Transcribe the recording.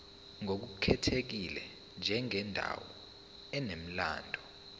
ngokukhethekile njengendawo enomlando